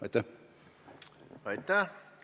Aitäh!